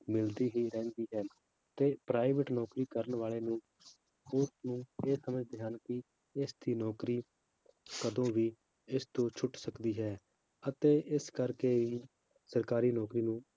ਮਿਲਦੀ ਹੀ ਰਹਿੰਦੀ ਹੈ ਤੇ private ਨੌਕਰੀ ਕਰਨ ਵਾਲੇ ਨੂੰ ਉਸਨੂੰ ਇਹ ਸਮਝਦੇ ਹਨ ਕਿ ਇਸਦੀ ਨੌਕਰੀ ਕਦੇ ਵੀ ਇਸਤੋਂ ਛੁੱਟ ਸਕਦੀ ਹੈ ਅਤੇ ਇਸ ਕਰਕੇ ਹੀ ਸਰਕਾਰੀ ਨੌਕਰੀ ਨੂੰ